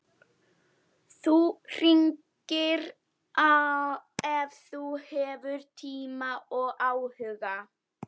Þú hringir ef þú hefur tíma og áhuga.